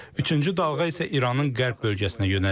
Üçüncü dalğa isə İranın qərb bölgəsinə yönəlib.